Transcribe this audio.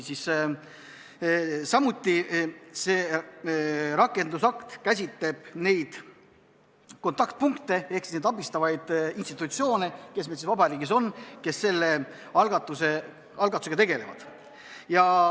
Samuti käsitleb see rakendusakt neid kontaktpunkte ehk neid abistavaid institutsioone, kes meil riigis on ja selle algatusega tegelevad.